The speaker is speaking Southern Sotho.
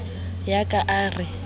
ya ka a ka re